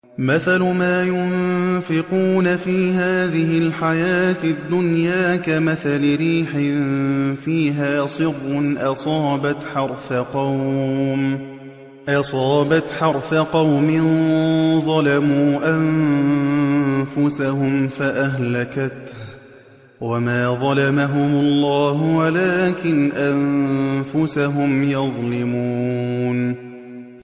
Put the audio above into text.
مَثَلُ مَا يُنفِقُونَ فِي هَٰذِهِ الْحَيَاةِ الدُّنْيَا كَمَثَلِ رِيحٍ فِيهَا صِرٌّ أَصَابَتْ حَرْثَ قَوْمٍ ظَلَمُوا أَنفُسَهُمْ فَأَهْلَكَتْهُ ۚ وَمَا ظَلَمَهُمُ اللَّهُ وَلَٰكِنْ أَنفُسَهُمْ يَظْلِمُونَ